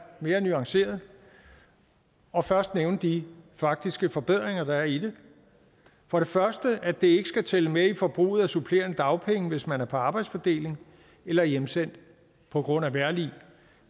mere nuanceret og først nævne de faktiske forbedringer der er i det for det første at det ikke skal tælle med i forbruget af supplerende dagpenge hvis man er på arbejdsfordeling eller hjemsendt på grund af vejrlig